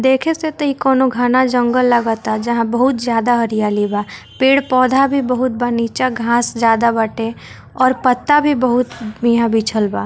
देखे से त इ कोनो घाना जंगल लागता जहां बहुत हरियाली बा पेड़ पौधा भी बा नीचे घास जादा बाटे और पत्ता भी बहुत यहाँ बिछल बा।